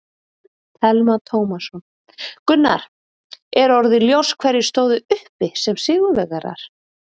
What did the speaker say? Telma Tómasson: Gunnar, er orðið ljóst hverjir stóðu uppi sem sigurvegarar?